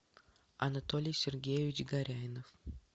анатолий сергеевич горяйнов